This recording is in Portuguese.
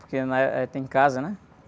Porque, né? Tem casa, né?